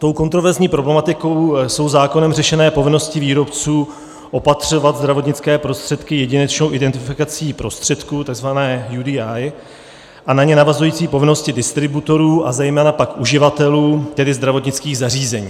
Tou kontroverzní problematikou jsou zákonem řešené povinnosti výrobců opatřovat zdravotnické prostředky jedinečnou identifikací prostředků, takzvané UDI, a na ně navazující povinnosti distributorů a zejména pak uživatelů, tedy zdravotnických zařízení.